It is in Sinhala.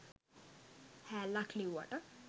හෑල්ලක් ලිව්වට